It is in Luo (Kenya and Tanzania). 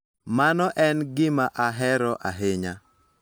Mano en gima ahero ahinya.